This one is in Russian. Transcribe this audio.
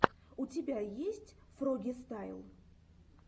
у тебя есть фрогистайл